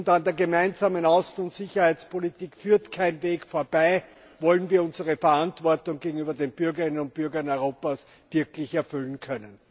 An der Gemeinsamen Außen und Sicherheitspolitik führt kein Weg vorbei, wollen wir unsere Verantwortung gegenüber den Bürgerinnen und Bürgern Europas wirklich erfüllen können.